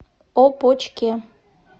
опочке